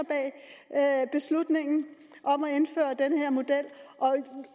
at bag beslutningen om at indføre den her model